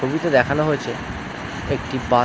ছবিতে দেখানো হয়েছে একটি বা--